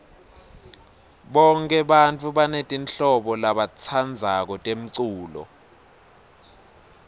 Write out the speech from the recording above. bonke bantfu banetimhlobo labatitsandzako temculo